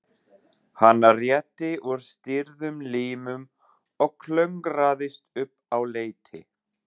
Hann rétti úr stirðum limum og klöngraðist upp á leiti.